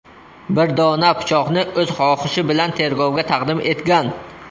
bir dona pichoqni o‘z xohishi bilan tergovga taqdim etgan.